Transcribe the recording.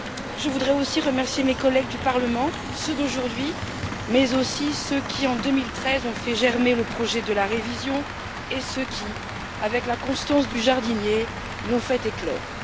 Je voudrais aussi remercier mes collègues du Parlement, ceux d'aujourd'hui, mais aussi ceux qui, en 2013, ont fait germer le projet de la révision, et ceux qui, avec la constance du jardinier, l'ont fait éclore.